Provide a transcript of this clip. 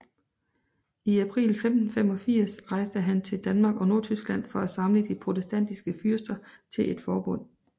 I april 1585 rejste han til Danmark og Nordtyskland for at samle de protestantiske fyrster til et forbund